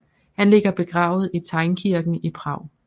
Han ligger begravet i Teynkirken i Prag